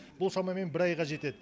бұл шамамен бір айға жетеді